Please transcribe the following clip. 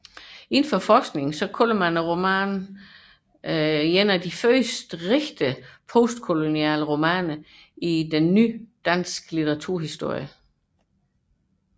I forskningen omtales romanen som en af de første ægte postkoloniale romaner i den nyere danske litteraturhistorie